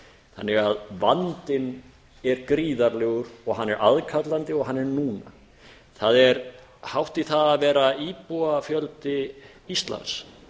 þannig að vandinn er gríðarlegur hann er aðkallandi og hann er núna það er hátt í það að vera íbúafjöldi íslands